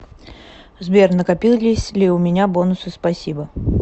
сбер накопились ли у меня бонусы спасибо